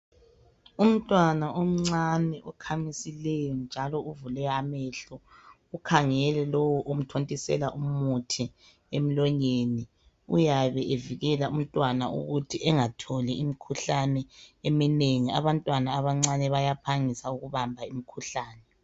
umntwana omncane okhamisileyo njalo uvule amehlo ukhangele lowo omthontisela umuthi emlonyeni uyabe evikela umntwana ukuthi engatholi imkhuhlane eminengi abantwana abancane bayaphangisa ukubamba imikhuhlane